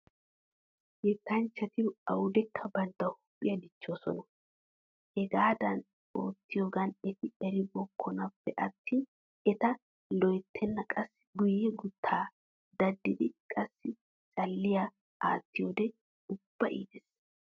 Yettanchchati awudekka bantta huuphiya dichchoosona. Hegaadan oottiyoogan eti eribbokkonappe attin eta loyttenna qassi guyye guuttaa daddidi qassi calliyaa attiyoode ubba iites.